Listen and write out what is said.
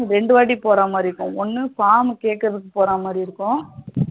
ரெண்டு வாட்டி போற மாரி இருக்கும். ஒன்னு form கேக்குறதுக்கு போற மாதிரி இருக்கும்.